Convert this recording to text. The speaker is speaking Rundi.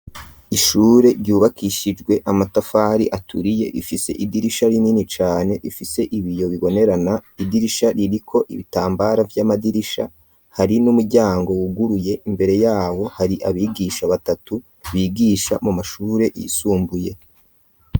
Ishure ryubakishijwe amatafari aturiye .Ifise idirisha binini cane, ifise ibiyo bibonerana idirisha ririko ibitambara vy'amadirisha hari n'umuryango wuguruye imbere yabo hari abigisha batatu bigisha mu mashure yisumbuye.